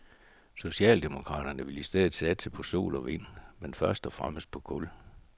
Socialdemokraterne vil i stedet satse på sol og vind, men først og fremmest på kul.